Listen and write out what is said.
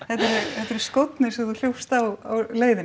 þetta eru skórnir sem þú hljópst í á leiðinni